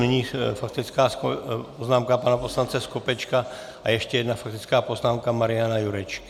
Nyní faktická poznámka pana poslance Skopečka a ještě jedna faktická poznámka Mariana Jurečky.